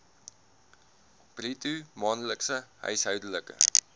bruto maandelikse huishoudelike